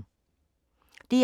DR2